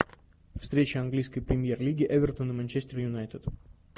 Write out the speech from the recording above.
встреча английской премьер лиги эвертон и манчестер юнайтед